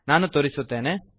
ನಾನು ತೋರಿಸುತ್ತೇನೆ